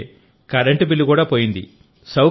అంటే current bill కూడా పోయింది